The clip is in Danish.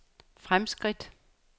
fremskridt